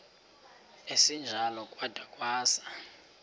esinjalo kwada kwasa